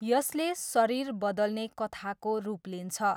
यसले शरीर बदल्ने कथाको रूप लिन्छ।